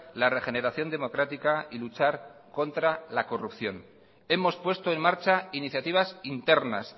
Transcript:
la regeneración democrática y luchar contra la corrupción hemos puesto en marcha iniciativas internas